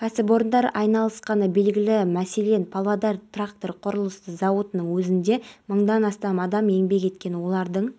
нәтижелері айқын көрінуде былтырғы жылмен салыстырғанда қылмыс жасау пайыздан аса азайған ауыр және аса ауыр